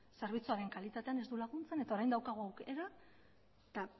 zerbitzuaren kalitatean ez du laguntzen eta orain daukagu aukera eta